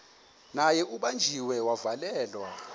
naye ubanjiwe wavalelwa